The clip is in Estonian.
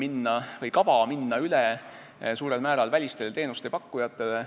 On olemas kava minna suurel määral üle välistele teenusepakkujatele.